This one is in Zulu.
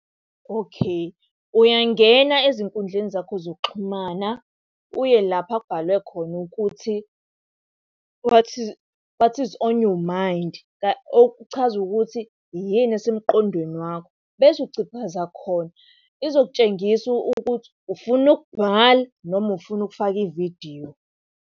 Okay, uyangena ezinkundleni zakho zokuxhumana, uye lapha ekubhalwe khona ukuthi, what is on your mind? Okuchaza ukuthi, yini esemqondweni wakho? Bese uciphaza khona, izokutshengisa ukuthi ufuna ukubhala noma ufuna ukufaka ividiyo.